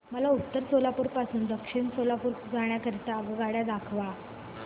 मला उत्तर सोलापूर पासून दक्षिण सोलापूर जाण्या करीता आगगाड्या दाखवा